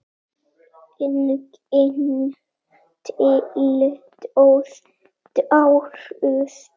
Engin tilboð bárust.